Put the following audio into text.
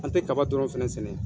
An te kaba dɔrɔn fɛnɛ sɛnɛ.